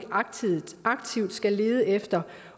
aktivt skal lede efter